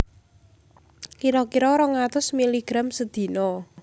Kira kira rong atus miligram sedina